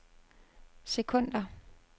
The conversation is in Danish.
sekunder